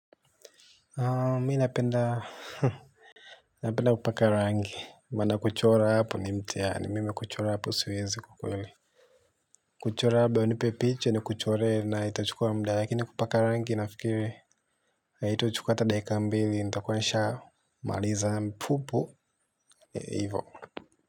Mimi napenda kupaka rangi maana kuchora hapo ni mtihani mimi kuchora hapo siwezi kwa kweli. Kuchora labda unipe picha ni kuchoree na itachukua muda lakini kupaka rangi nafikiri. Haitachukua ata dakika mbili nitakua nishaa maliza hivo.